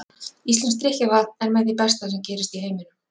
Íslenskt drykkjarvatn er með því besta sem gerist í heiminum.